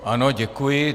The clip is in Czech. Ano, děkuji.